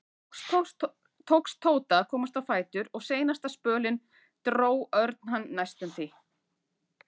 Loks tókst Tóta að komast á fætur og seinasta spölinn dró Örn hann næstum því.